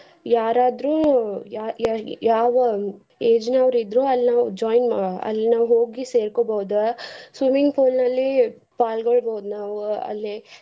ಯಾರಾದ್ರೂ ಯ್~ ಯ~ ಯಾವ age ನವ್ರ ಇದ್ರು ಅಲ್ಲಿ ನಾವ್ join ಹೋಗಿ ಸೇರ್ಕೋಬೋದ್ swimming pool ನಲ್ಲಿ ಪಾಲ್ಗೋಳ್ಬೋದ ನಾವ್ ಅಲ್ಲೆ.